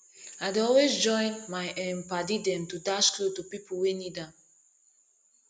i dey always join my um paddy dem to dash clot to pipu wey need am